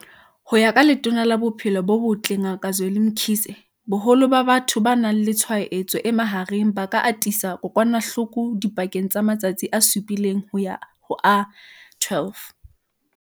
Ho ya ka Letona la Bophelo bo Botle Ngaka Zweli Mkhize, boholo ba batho ba nang le tshwaetso e mahareng ba ka atisa kokwanahloko dipakeng tsa matsatsi a supileng ho ya ho a 12.